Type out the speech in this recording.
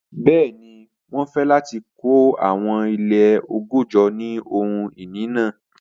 Bẹẹni, wọn fẹ lati kọ awọn ile ọgọ́jọ ni ohun-ini naa.